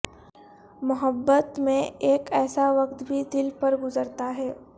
محبت میں اک ایسا وقت بھی دل پر گزرتا ہے